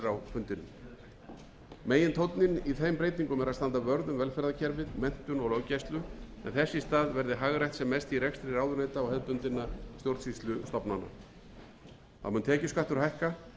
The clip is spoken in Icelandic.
fundi megintónninn í þeim breytingum er að standa vörð um velferðarkerfið menntun og löggæslu en þess í stað verði hagrætt sem mest í rekstri ráðuneyta og hefðbundinna stjórnsýslustofnana þá mun tekjuskattur hækka og